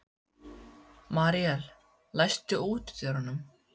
Míríel, læstu útidyrunum.